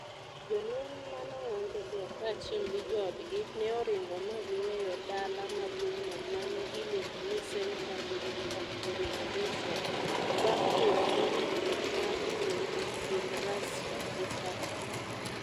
Jolweny ma nong'anjogo kaachiel gi joodgi ne oringo ma giweyo dala maduong'no ma ne iluongo ni "Centre of the Revolution" bang' bedo gi winjruok mar kuwe e kind Russia gi Turkey.